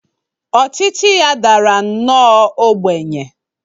Ọchịchị ya dara nnọọ ogbenye.